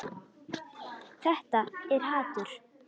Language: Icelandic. Þetta er hatur.